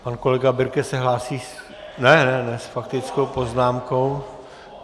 Pan kolega Birke se hlásí s faktickou poznámkou?